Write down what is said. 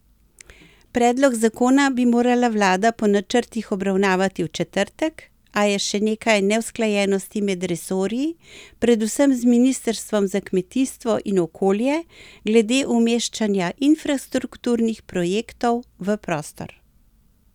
Predlog zakona bi morala vlada po načrtih obravnavati v četrtek, a je še nekaj neusklajenosti med resorji, predvsem z ministrstvom za kmetijstvo in okolje glede umeščanja infrastrukturnih projektov v prostor.